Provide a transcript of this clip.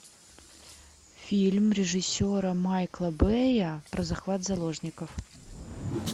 фильм режиссера майкла бэя про захват заложников